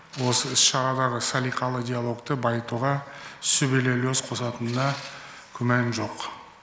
осы іс шарадағы салиқалы диалогты байытуға сүбелі үлес қосатынына күмән жоқ